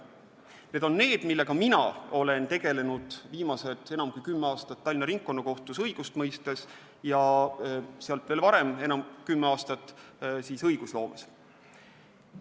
Need on need, millega mina olen tegelenud viimased enam kui kümme aastat Tallinna Ringkonnakohtus õigust mõistes ja enne seda kümme aastat õigusloomega tegeledes.